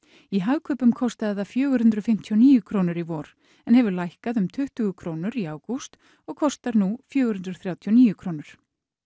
í Hagkaupum kostaði það fjögur hundruð fimmtíu og níu krónur í vor en hefur lækkað um tuttugu krónur í ágúst og kostar nú fjögur hundruð þrjátíu og níu krónur